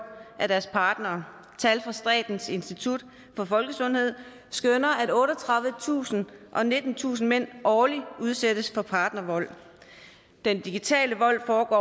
af deres partnere statens institut for folkesundhed skønner at otteogtredivetusind og nittentusind mænd årligt udsættes for partnervold den digitale vold foregår